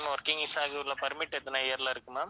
working visa permit எத்தனை year ல இருக்கு ma'am